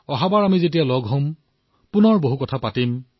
অহাবাৰ যেতিয়া আমি লগ হম তেতিয়া বহু কথা পাতিম